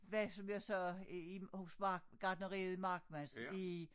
Var som jeg sagde i i hos mark gartneriet Markmans i